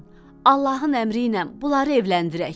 Allahın əmriylə bunları evləndirək.